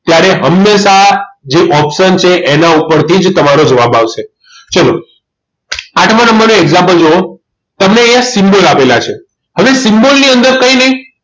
ત્યારે હંમેશા જે option છે એના ઉપરથી જ તમારો જવાબ આવશે ચલો આઠમા નંબરનું example જુઓ તમને અહીંયા symbol આપેલા છે હવે symbol ની અંદર કંઈ નહીં